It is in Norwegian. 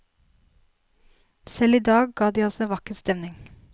Selv i dag ga de oss en vakker stemning.